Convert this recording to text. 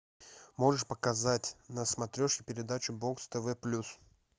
можешь показать на смотрешке передачу бокс тв плюс